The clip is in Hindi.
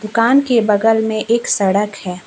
कान के बगल में एक सड़क है।